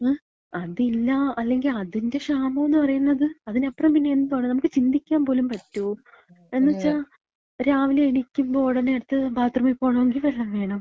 ങേ, അതില്ല. അല്ലെങ്കി അതിന്‍റ ക്ഷാമോന്ന് പറയ്ന്നത്, അതിനപ്പ്റം പിന്നെന്താ നമക്ക് ചിന്തിക്കാൻ പോലും പറ്റോ? എന്ന് വച്ചാ രാവിലെ എണീക്കുമ്പോ ഉടെന അട്ത്തെ ബാത്ത്റൂമി പോണെങ്കി വെള്ളം വേണം.